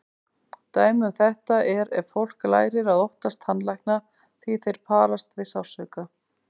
Dæmi um þetta er ef fólk lærir að óttast tannlækna því þeir parast við sársauka.